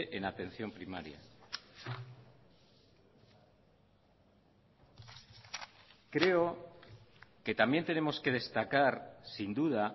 en atención primaria creo que también tenemos que destacar sin duda